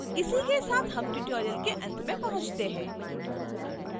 इसी के साथ हम tutorial के अंत में पहुंचते हैं